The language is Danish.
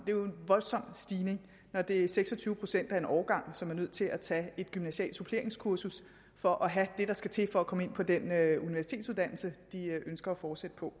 jo en voldsom stigning når det er seks og tyve procent af en årgang som er nødt til at tage et gymnasialt suppleringskursus for at have det der skal til for at komme ind på den universitetsuddannelse de ønsker at fortsætte på